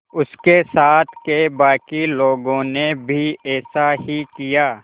उसके साथ के बाकी लोगों ने भी ऐसा ही किया